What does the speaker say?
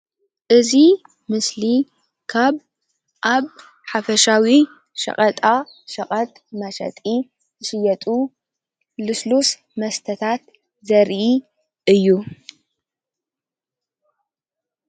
እዚ ምስሊ ካብ ኣብ ሓፈሻዊ ሸቀጣ ሸቀጥ መሸጢ ዝሽየጡ ልስሉስ መስተታት ዘርኢ እዩ::